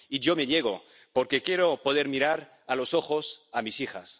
Y yo me niego, porque quiero poder mirar a los ojos a mis hijas.